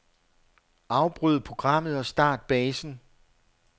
Afbryd programmet og start basen.